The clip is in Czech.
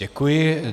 Děkuji.